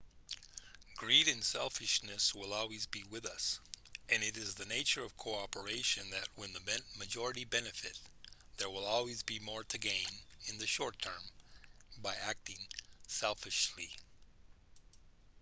greed and selfishness will always be with us and it is the nature of cooperation that when the majority benefit there will always be more to gain in the short term by acting selfishly